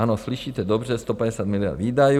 Ano, slyšíte dobře, 150 miliard výdajů.